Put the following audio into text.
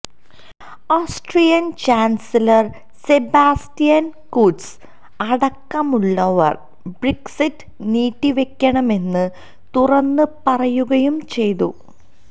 Austrian chancellor Sebastian Kurz അടക്കമുള്ളവര് Brexit നീട്ടിവെക്കണമെന്ന് തുറന്ന് പറയുകയും ചെയ്തു